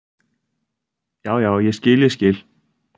"""Já, já, ég skil, ég skil."""